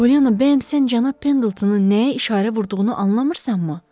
Pollyanna, bəs sən cənab Pendeltonun nəyə işarə vurduğunu anlamırsanmı?